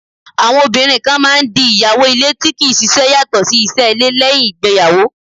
Àwọn obìnrin kan máà ń di ìyàwó ilé tí kì í ṣiṣẹ́ yàtọ̀ sí iṣẹ́ ilé, lẹ́uìn ìgbéyàwó.